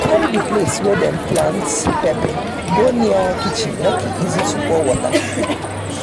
e carry the place wey dem plate pepper go near kitchen make e easy to pour water.